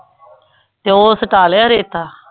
ਤੇ ਉਹ ਸੁਟਾ ਲਿਆ ਰੇਤਾ?